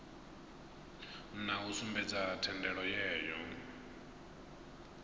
na u sumbedza thendelo yayo